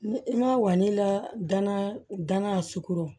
Ni i ma walila gana gana sugoron